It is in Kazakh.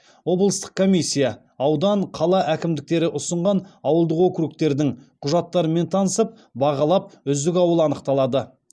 облыстық комиссия аудан қала әкімдіктері ұсынған ауылдық округтердің құжаттарымен танысып бағалап үздік ауыл анықталады